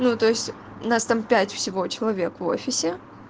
то есть нас там пять всего человек в офисе